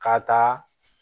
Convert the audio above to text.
Ka taa